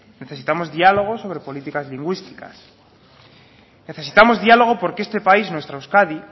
necesitamos diálogo sobre políticas lingüísticas necesitamos diálogo porque este país nuestra euskadi